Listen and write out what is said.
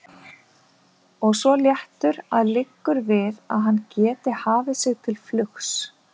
Og svo léttur að liggur við að hann geti hafið sig til flugs.